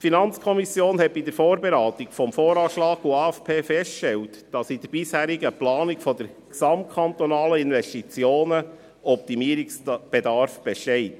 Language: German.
Die FiKo hat bei der Vorberatung von VA und AFP festgestellt, dass bei der bisherigen Planung der gesamtkantonalen Investitionen Optimierungsbedarf besteht.